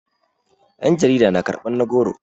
yan jarida na karbar na goro